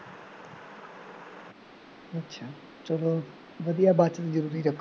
ਚੱਲੋ ਵਧੀਆ ਬਾਕੀ ਰੱਖੋ